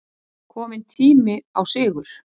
Kominn tími á sigur